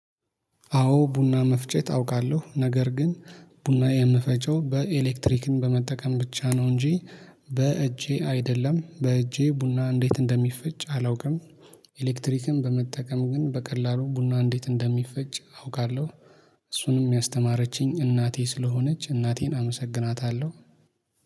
አዎ ቡና መፍጨት አውቃለሁ ነገር ግን ቡና የምፈጨው በኤሌክትሪክን በመጠቀም ብቻ ነው እንጂ በእጄ አይደለም በእጄ ቡና እንዴት እንደሚፈጭ አላውቅም። ኤሌክትሪክን በመጠቀም ግን በቀላሉ ቡና እንዴት እንደሚፈጭ አውቃለሁ። እሱንም የሚያስተማረችኝ እናቴ ስለሆነች እናቴን አመሰግናታለሁ።